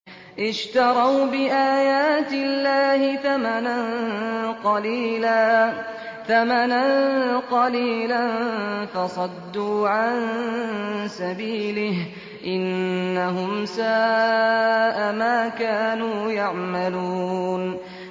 اشْتَرَوْا بِآيَاتِ اللَّهِ ثَمَنًا قَلِيلًا فَصَدُّوا عَن سَبِيلِهِ ۚ إِنَّهُمْ سَاءَ مَا كَانُوا يَعْمَلُونَ